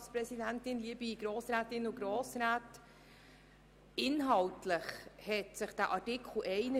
Deshalb kann ich eine Rückweisung in die Kommission unterstützen, damit man dort fundiert darüber diskutieren kann.